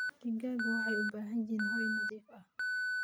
Xooluhu waxay u baahan yihiin hoy nadiif ah.